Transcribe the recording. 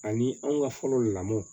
Ani anw ka fɔlɔ lamɔ